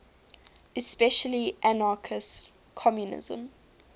especially anarchist communism